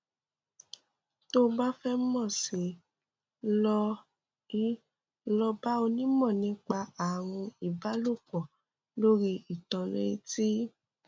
tó o bá fẹ mọ sí i lọ i lọ bá onímọ nípa ààrùn ìbálòpọ lórí íńtánẹẹtì